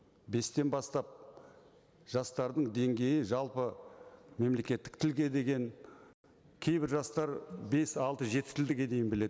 бестен бастап жастардың деңгейі жалпы мемлекеттік тілге деген кейбір жастар бес алты жеті тілге дейін біледі